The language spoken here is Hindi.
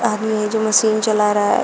आदमी है जो मशीन चला रहा है।